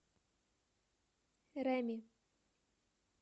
реми